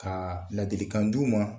Ka ladilikan di'u ma